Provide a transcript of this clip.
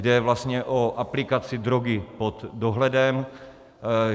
Jde vlastně o aplikaci drogy pod dohledem.